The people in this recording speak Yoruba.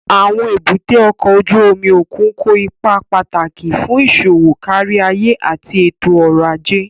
Àwọn èbúté ọkọ̀ ojú omi òkun kó ipa pàtàkì fún iṣowo káríayé àti ètò ọ̀rọ̀ ajé